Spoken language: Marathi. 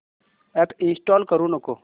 अॅप इंस्टॉल करू नको